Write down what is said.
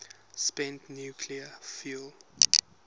spent nuclear fuel